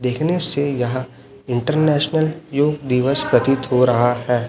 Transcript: देखने से यहां इंटरनेशनल योग दिवस प्रतीत हो रहा है।